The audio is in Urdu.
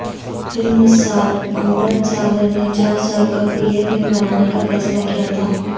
فلمساز امرت ساگر نے چار سال قبل یہ فلم بنانے کا فیصلہ کیا تھا